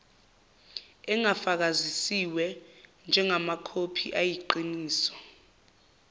engafakazisiwe njengamakhophi ayiqiniso